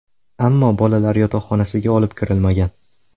Ammo bolalar yotoqxonasiga olib kirilmagan.